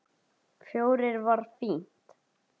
Fjórir var fínt.